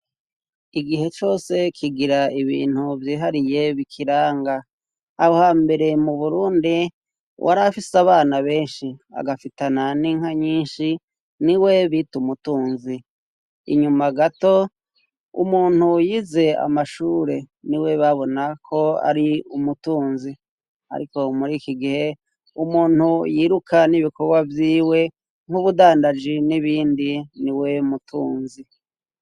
igihe cose kigira ibintu vyihariye bikiranga aha mbere mu burundi wari afise abana benshi agafitana n'inka nyinshi ni we bite umutunzi inyuma gato umuntu yize amashure ni we babona ko ari umutunzi ariko muri ikigihe umuntu yiruka n'ibikorwa vyiwe nk'ubudandaji n'ibindi niwe mutunzi